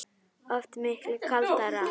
Oft miklu kaldara